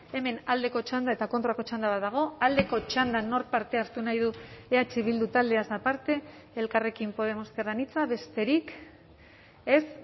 hemen aldeko txanda eta kontrako txanda bat dago aldeko txandan nork parte hartu nahi du eh bildu taldeaz aparte elkarrekin podemos ezker anitza besterik ez